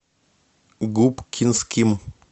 губкинским